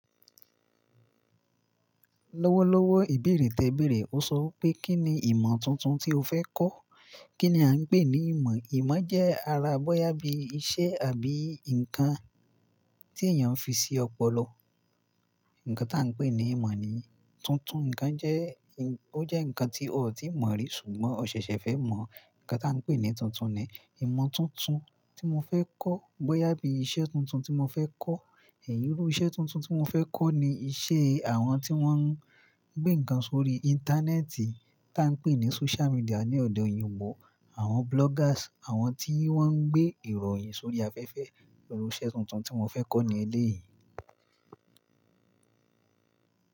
Lọ́wọ́lọ́wọ́ ìbèrè tẹ̀berè. Mo sọ wipé kíni ìmọ̀ tuntun tí o fẹ́ kọ́? Kí ni a ń pè ní ìmọ̀? Ìmọ̀ jẹ́ ara bọ́yá bí iṣẹ́ àbí nǹkan tí èèyàn fi sí ọpọlọ. Nkan tí a ń pè ní ìmọ̀ ni. Tuntun, ǹkan jẹ́, ó jẹ́ ǹkan tí o ò tíì mọ̀ rí ṣùgbọ́n o ṣẹ̀ṣẹ̀ fẹ́ mọ̀. Nkan tí a ń pè ní tuntun ni. Ìmọ̀ tuntun tí mo fẹ́ kọ́ bọ́yá bí iṣẹ́ tuntun tí mo fẹ́ kọ́. Ẹ̀yí bi iṣẹ́ tuntun tí mo fẹ́ kọ́ ni iṣẹ́ àwọn tí wọ́n ń gbé ǹkan sórí Íńtánẹ́ẹ̀tì tí a ń pè ní Social Media ní ọ̀dọ̀ oyìnbó. Àwọn bloggers, àwọn tí wọ́n ń gbé ìròyìn sórí afẹ́fẹ́. Ìrù iṣẹ́ tuntun tí mo fẹ́ kọ́ ní elé yìí.